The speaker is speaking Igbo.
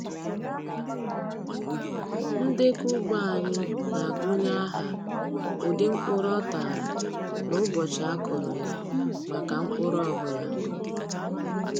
Ndekọ ugbo anyị na-agụnye aha, ụdị, mkpụrụ ọ tara, na ụbọchị a kụrụ ya maka mkpụrụ ọ bụla.